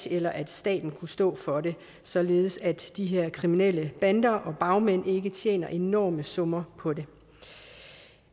eller at staten kunne stå for det således at de her kriminelle bander og bagmænd ikke ville tjene enorme summer på det